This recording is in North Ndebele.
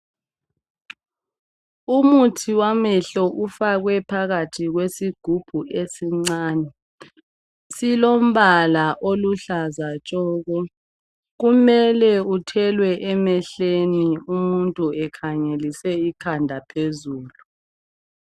umuthi wamehlo ufakwe phakathi kwesigubhu esincane silombala oluhlaza tshoko kumele uthelwe emehlweni umuntu ekhangelise ikhanda phezulu